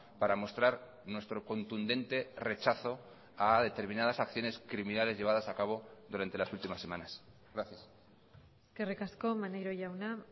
para mostrar nuestro contundente rechazo a determinadas acciones criminales llevadas a cabo durante las últimas semanas gracias eskerrik asko maneiro jauna